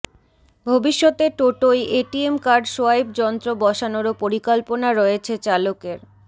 ভবিষ্যতে টোটোয় ATM card swipe যন্ত্র বসানোরও পরিকল্পনা রয়েছে চালকের